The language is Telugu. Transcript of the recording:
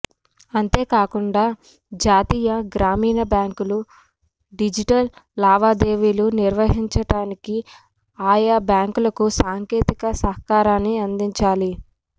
అంతేకాకుండా జాతీయ గ్రామీణ బ్యాంకులు డిజిటల్ లావాదేవీ లు నిర్వహించటానికిఆయా బ్యాంకులకు సాంకేతిక సహకారాన్ని అందించాలి